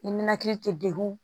I nankili tɛ degun